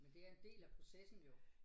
Men det er en del af processen jo